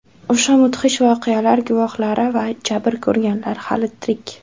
O‘sha mudhish voqealar guvohlari va jabr ko‘rganlar hali tirik.